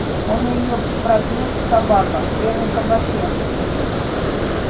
он её пропьёт собака в первом кабаке